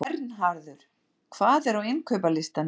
Vernharður, hvað er á innkaupalistanum mínum?